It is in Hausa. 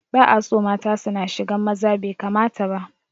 Ba'aso mata suna shigan maza, bai kamata ba